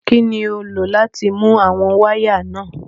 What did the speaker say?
Kín ni o lò láti nu àwọn wáyà náà?